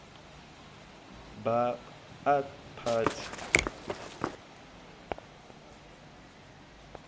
ba ath party